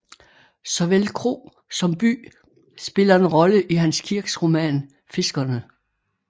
Såvel kro som by spiller en rolle i Hans Kirks roman Fiskerne